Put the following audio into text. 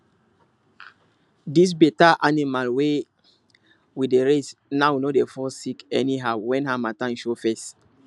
this better animal wey we dey raise now no dey fall sick anyhow when harmattan show face